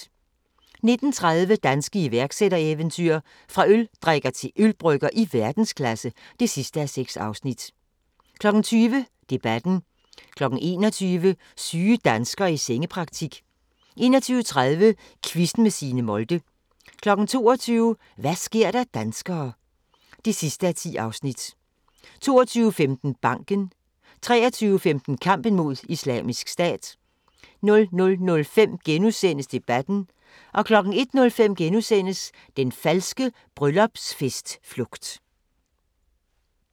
19:30: Danske iværksættereventyr – fra øldrikker til ølbrygger i verdensklasse (6:6) 20:00: Debatten 21:00: Syge danskere i sengepraktik 21:30: Quizzen med Signe Molde 22:00: Hva' sker der danskere (10:10) 22:15: Banken 23:15: Kampen mod Islamisk Stat 00:05: Debatten * 01:05: Den falske bryllupsfest-flugt *